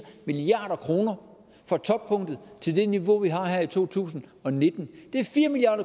milliard kroner fra toppunktet til det niveau vi har her i to tusind og nitten det er fire milliard